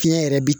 Fiɲɛ yɛrɛ bi